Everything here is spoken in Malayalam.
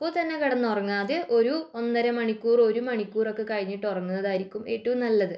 അപ്പൊത്തന്നെ കിടന്നുറങ്ങാതെ ഒരു ഒന്നര മണിക്കൂർ ഒരു മണിക്കൂർ ഒക്കെ കഴിഞ്ഞിട്ട് ഉറങ്ങുന്നതായിരിക്കും നല്ലത്